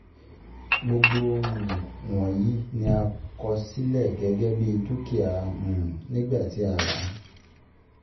Gbogbo um wọ̀nyí ni a kọ um sílẹ̀ gẹ́gẹ́ bí dúkìá um nígbà tí a ràá